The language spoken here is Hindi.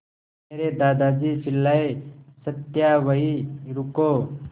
मेरे दादाजी चिल्लाए सत्या वहीं रुको